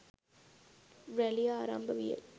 රැළිය ආරම්භ විය